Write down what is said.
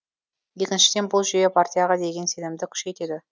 екіншіден бұл жүйе партияға деген сенімді күшейтеді